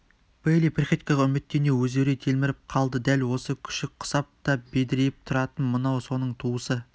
бейли приходькоға үміттене өзеурей телміріп қалды дәл осы күшік құсап да бедірейіп тұратын мынау соның туысы